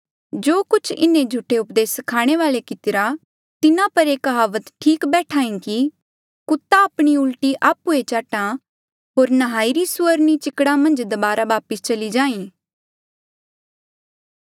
जो कुछ इन्हें झूठे उपदेस स्खाणे वाले कितिरा तिन्हा पर ये कहावत ठीक बैठ्हा ई कि कुत्ता आपणी उल्टी आप्हुए चाट्हा होर नहाईरी सुअरनी चिकड़ा मन्झ दबारा वापस चली जाहीं